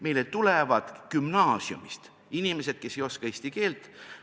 Meile tulevad gümnaasiumist inimesed, kes ei oska eesti keelt.